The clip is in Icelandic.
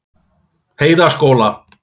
Heiðaskóla